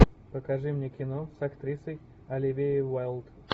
покажи мне кино с актрисой оливией уайлд